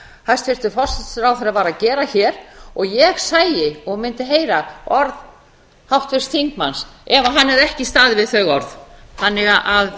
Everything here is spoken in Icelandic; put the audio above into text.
hæstvirtur forsætisráðherra var að gera hér ég sæi og mundi heyra orð háttvirts þingmanns ef hann hefði ekki staðið við þau orð þannig að